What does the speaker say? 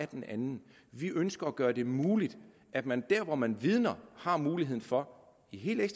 den anden vi ønsker at gøre det muligt at man der hvor man vidner har muligheden for i helt